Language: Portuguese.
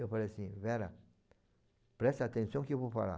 Eu falei assim, Vera, presta atenção que eu vou falar.